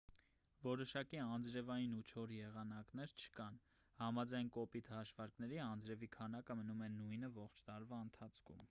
որոշակի անձրևային ու չոր եղանակներ չկան համաձայն կոպիտ հաշվարկների անձրևի քանակը մնում է նույնը ողջ տարվա ընթացքում